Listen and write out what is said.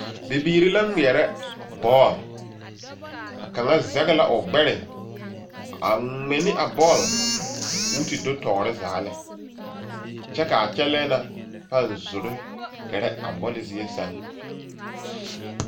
Bibiiri la ŋmeɛre bɔl,a kaŋa zege la o gbɛre a ŋmɛ. ne a bɔl kɔɔ te do tɔɔre zaa lɛ, kyɛ kaa kyɛlɛ na paaŋ zoro gerɛ a bɔl zie seŋ.